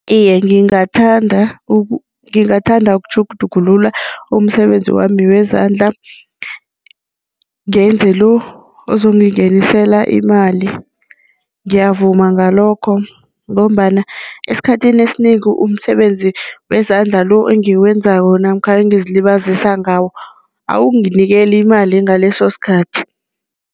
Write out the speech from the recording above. Iye, ngingathanda ukutjhugutjhugulula umsebenzi wami wezandla, ngenze lo ozongingenisela imali. Ngiyavuma ngalokho ngombana esikhathini esinengi umsebenzi wezandla lo engiwenzako namkha engizilibazisa ngawo awunginikeli imali ngaleso sikhathi.